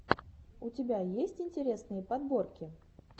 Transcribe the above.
у тебя есть интересные подборки